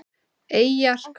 Eyjar hvað?